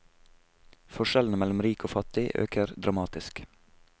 Forskjellene mellom rik og fattig øker dramatisk.